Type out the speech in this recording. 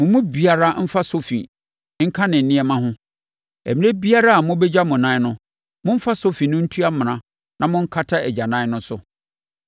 Mo mu biara mfa sofi nka ne nneɛma ho. Ɛberɛ biara a mobɛgya mo anan no, momfa sofi no ntu amena na monkata agyanan no so.